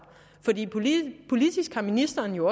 politisk har ministeren jo